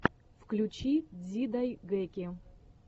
включи дзидайгэки